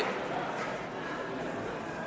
får